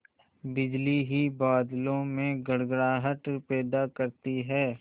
बिजली ही बादलों में गड़गड़ाहट पैदा करती है